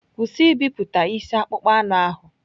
Kwụsị ibipụta isi akpụkpọ anụ ahụ!